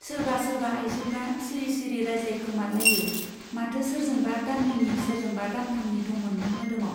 सोरबा सोरबा आइजोफ्रा सिरि सिरि रायज्लायखोमालायो - माथो सोरजोंबा दाननैनि , सोरजोंबा दानथामनि दंमोननो मोदोमाव।